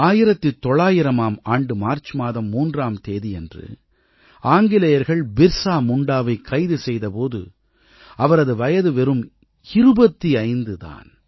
1900ஆம் ஆண்டு மார்ச் மாதம் 3ஆம் தேதியன்று ஆங்கிலேயர்கள் பிர்ஸா முண்டாவைக் கைது செய்த போது அவரது வயது வெறும் 25 தான்